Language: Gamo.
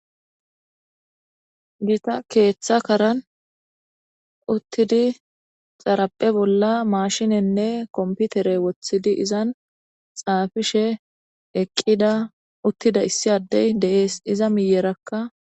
gita keeththa karan uttidi xarapphe bolla maashinenne komputere wothidi izan xaafishe eqqida uttida issi addey deees iza miyerakka